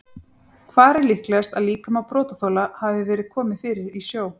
Hvar er líklegast að líkama brotaþola hafi verið komið fyrir í sjó?